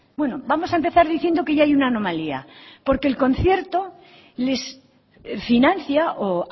bueno vamos a empezar diciendo que ya hay una anomalía porque el concierto les financia o